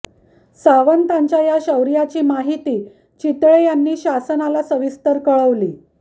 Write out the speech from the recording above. सावंतांच्या या शौर्याची माहिती चितळे यांनी शासनाला सविस्तर कळवली